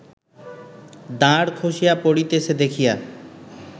দাঁড় খসিয়া পড়িতেছে দেখিয়া